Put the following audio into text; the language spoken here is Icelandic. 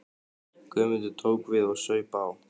Guðmundur tók við og saup á.